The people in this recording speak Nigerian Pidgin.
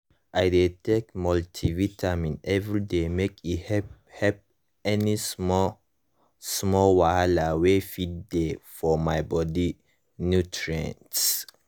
i dey take multivitamin every day make e help help any small-small wahala wey fit dey for my body nutrients